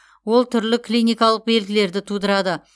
ол түрлі клиникалық белгілерді тудырады